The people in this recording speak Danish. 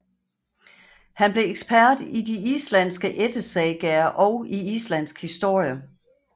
Han blev ekspert i de islandske ættesagaer og i islandsk historie